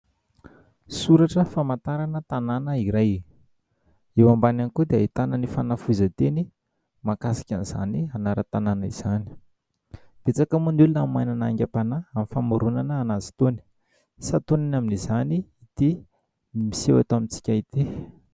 Soratra famantarana tanàna iray. Eo ambany ihany koa dia ahitana ny fanafohezan-teny mahakasika an'izany anaran-tanàna izany. Betsaka moa ny olona no manana ny aingam-panahy amin'ny famoronana anazy itony. Santionany amin'izany itỳ miseho eto amintsika itỳ.